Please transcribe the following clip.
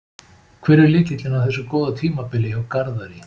Hver er lykillinn að þessu góða tímabili hjá Garðari?